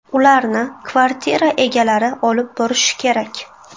Ularni kvartira egalari olib borishi kerak.